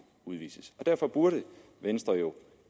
udvises derfor burde venstre jo